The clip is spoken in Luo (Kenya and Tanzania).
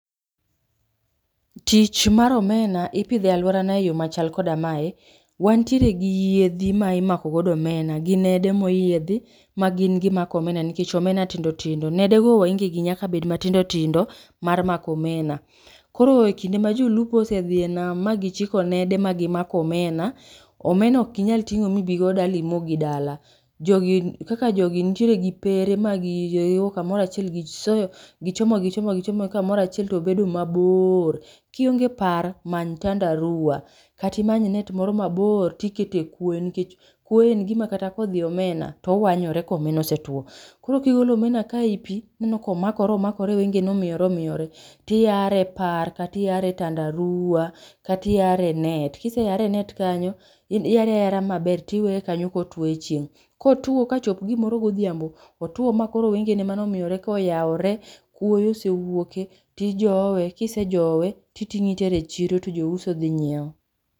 Tich mar omena ipidho e alworana e yo machal koda mae, wantiere gi yiedhi ma imako godo omena gi nede moyiedhi ma gin gimako omena nikech omena tindo tindo. Nede go waenge gi nyaka bed matindo tindo mar mako omena. Koro e kinde a jolupo osedhi e nam ma gichiko nede ma gimako omena, omena ok inyal ting'o mibigo dala ibi mo dala, jogi kaka jogi nitiere gi pere ma gi giriwo kamoro achiel gisoyo gichomo gichomo gichomogi kamoro achiel to obedo maboor. Kionge par many tandarua kata imany net moro mabor tikete e kwoyo nikech kwoyo en gima kata kodhi e omena to awanyore ka omena osetuo. Koro ka igolo omena kae e i pi tineno ka omakore omakore wenge ne omiyore omiyore tiyare e par kata iyare e tandarua kata iyare e net. Kiseyare e net kanyo in iyare ayara maber to iweye kanyo ka otuo e chieng'. Kotuo ka chop gimoro godhiambo, otuo ma koro wengene mane omiyore ka oyaore, kuoyo osewuoke, tijowe kisejowe titing'o itere chiro to jouso dhi nyieo.